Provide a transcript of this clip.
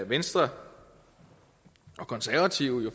venstre og konservative